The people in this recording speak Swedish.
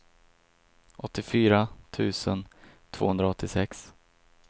åttiofyra tusen tvåhundraåttiosex